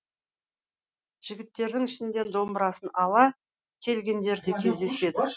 жігіттердің ішінде домбырасын ала келгендер де кездеседі